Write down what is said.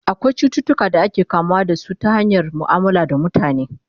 akwai cututuka da ake kamuwa da su ta hanyar muamala da mutane